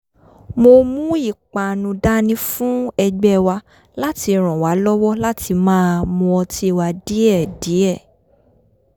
mo mú ìpanu dání fún e̩gbé̩ wa láti ràn wá lọ́wọ́ láti máa mu ọtí wa díè̩díè̩